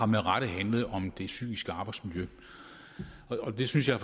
med rette har handlet om det psykiske arbejdsmiljø og det synes jeg